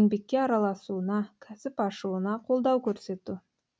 еңбекке араласуына кәсіп ашуына қолдау көрсету